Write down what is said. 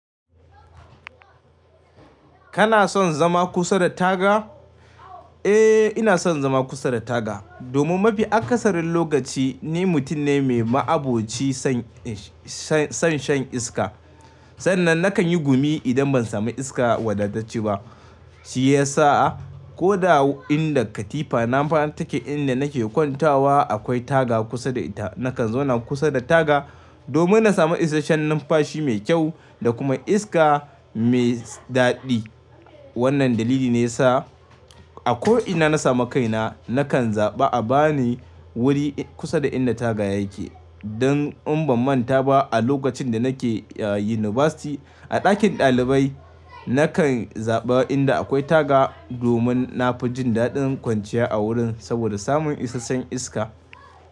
Kana son zama kusa da taga? Eh, ina son zama kusa da taga domin mafi akasarin lokaci ni mutum ne mai ma'abocin son shan iska. Sannan nakan yi gumi idan ban sami iska wadatacce ba. Shi ya sa ko inda katifa nama take inda nake kwantawa akwai taga kusa da ita. Nakan zauna kusa da taga domin na sami isasshen numfashi mai kyau da kuma iska mai daɗi. Wannan dalili ne ya sa a ko'ina na sami kaina nakan zaɓi a ba ni wuri kusa da inda taga yake. Dan in ban manta ba a lokacin da nake University a ɗakin ɗalibai nakan zaɓa inda akwai taga domin na fi jin daɗin kwanciya a wurin sabida samun isasshen iska.